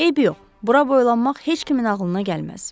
Eybi yox, bura boylanmaq heç kimin ağlına gəlməz.